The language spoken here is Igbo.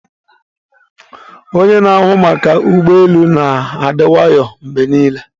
Onye na-ahụ maka ụgbọ elu na-adi nwayo mgbe niile.